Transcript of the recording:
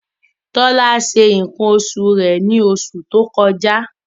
Tọ́lá ṣe nǹkan oṣù rẹ̀ ní oṣù tó kọjá.